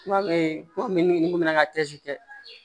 Kuma kuma min ni mun nana tɛ